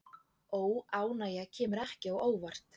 Óánægja kemur ekki á óvart